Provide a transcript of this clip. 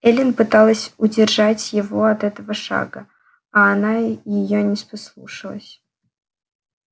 эллин пыталась удержать его от этого шага а она её не послушалась